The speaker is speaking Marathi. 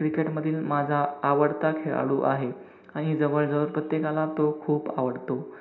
cricket मधील माझा आवडता खेळाडू आहे. आणि जवळजवळ प्रत्येकाला तो खूप आवडतो.